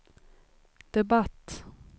debatt